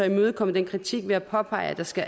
imødekommet den kritik ved at påpege at der skal